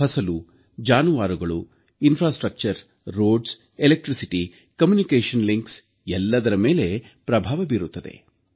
ಫಸಲು ಜಾನುವಾರುಗಳು ಮೂಲಸೌಕರ್ಯ ರಸ್ತೆ ವಿದ್ಯುತ್ ಸಂಪರ್ಕ ಜಾಲ ಎಲ್ಲದರ ಮೇಲೆ ಪ್ರಭಾವ ಉಂಟಾಗುತ್ತದೆ